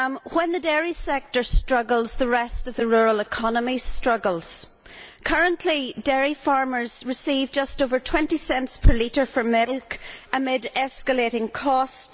When the dairy sector struggles, the rest of the rural economy struggles. Currently dairy farmers receive just over 20 cents per litre for milk amid escalating costs.